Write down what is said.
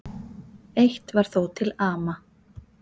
Eitt var þó til ama.